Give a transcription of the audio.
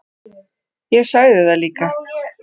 Ég sagði það líka.